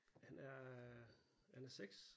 Han er han er 6